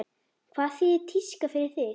Hvað þýðir tíska fyrir þig?